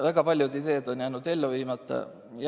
Väga paljud ideed on jäänud ellu viimata.